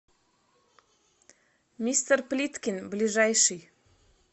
мистер плиткин ближайший